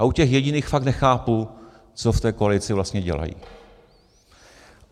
A u těch jediných fakt nechápu, co v té koalici vlastně dělají.